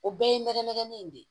O bɛɛ ye nɛgɛ nɛgɛ in de ye